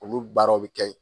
Olu baaraw bɛ kɛ